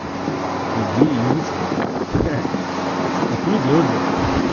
иди и изучай ха-ха а хули делать блять